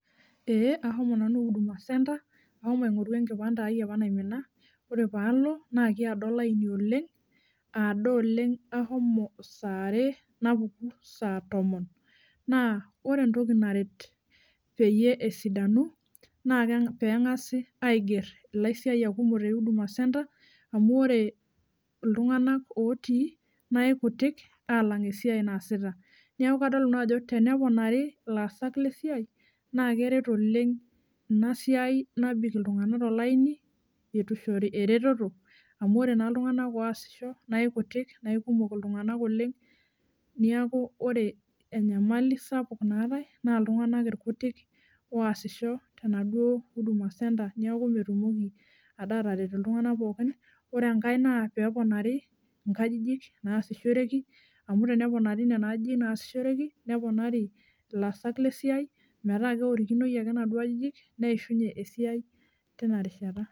Ee ahomo nanu huduma center ahomo aingoru enkipande apa ai naimina , ore palo naa kiado olaini oleng , aado oleng ahomo saa are napuku saa tomon naa ore entoki naret peyie esidanu naa kenga, pengasi ainger ilaisiayiak kumok te huduma center amu ore iltunganak otii naa ikutik alang esiai naasita. Niaku kadol nanu ajo teneponari ilaasak lesiai naa keret oleng inasiai nabik iltunganak tolaini eitu ishori ereteto amu ore naa iltunganak oasisho naa ikutik naa ikumok iltunganak oleng , niaku ore enyamali sapuk naatae naa iltunganak irkutik oasisho tenaduo huduma center niaku metumoki ade ataret iltunganak pookin . Ore enkae naa peponari nkajijik naasishoreki amu teneponari nena ajijik naasishoreki , neponari ilaasak lesiai metaa keorikinoi ake inaduo ajijik neishunyie esiai tina rishata.